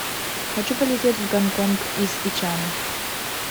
хочу полететь в гонконг из ичана